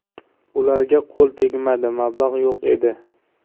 Ularga qo‘l tegmadi, mablag‘ yo‘q edi.